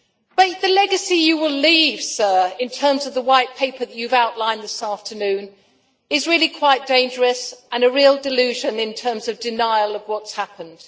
But the legacy you will leave, sir, in terms of the White Paper that you have outlined this afternoon is really quite dangerous and a real delusion in terms of denial of what has happened.